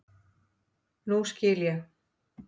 Nú skil ég.